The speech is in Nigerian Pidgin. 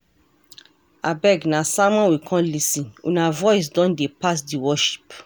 Abeg, na sermon we come lis ten, una voice don dey pass di worship.